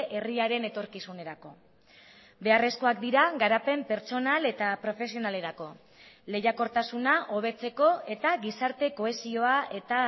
herriaren etorkizunerako beharrezkoak dira garapen pertsonal eta profesionalerako lehiakortasuna hobetzeko eta gizarte kohesioa eta